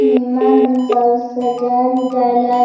सब सजायल - उजायल है।